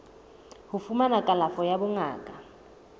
ho fumana kalafo ya bongaka